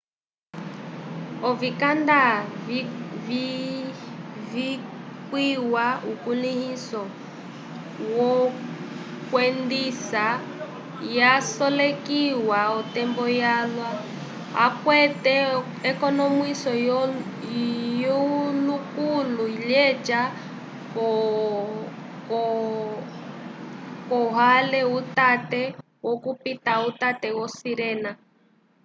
ovikanada vikwĩha ukulĩhiso wokwendisa yasolekiwa l'otembo yalwa akwate ekonomwiso lyukũlu lyeca k'okwãhe utate wokupita uteke vo sirena